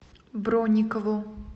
бронникову